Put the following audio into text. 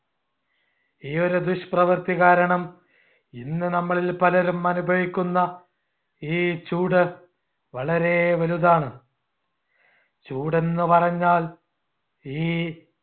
ഈ ഒരു ദുഷ്പ്രവർത്തി കാരണം ഇന്ന് നമ്മളിൽ പലരും അനുഭവിക്കുന്ന ഈ ചൂട് വളരെ വലുതാണ് ചൂടെന്നുപറഞ്ഞാ ഈ